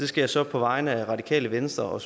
skal så på vegne af radikale venstre og